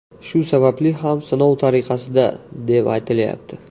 Shu sababli ham sinov tariqasida, deb aytilayapti.